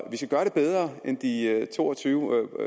vi skal gøre det bedre end de cirka to og tyve